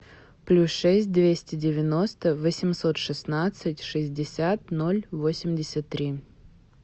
плюс шесть двести девяносто восемьсот шестнадцать шестьдесят ноль восемьдесят три